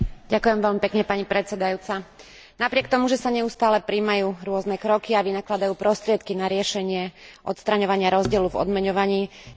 Napriek tomu, že sa neustále prijímajú rôzne kroky a vynakladajú prostriedky na riešenie odstraňovania rozdielu v odmeňovaní, pokrok dosahujeme extrémne pomaly.